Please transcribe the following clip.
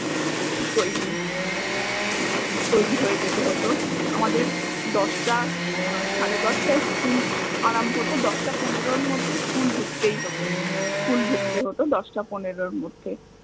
তৈরী তৈরী হয়ে যেতে হত আমাদের দশটা সাড়ে দশটায় school আরম্ভ হত দশ্টা পনেরোর মধ্যে school ধুকতেই হত, school ধুকতে হত দশ্টা পনেরোর মধ্যে